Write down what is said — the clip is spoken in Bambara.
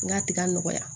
N ka tiga nɔgɔya